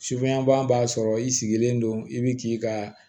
Sufɛban b'a sɔrɔ i sigilen don i bi k'i ka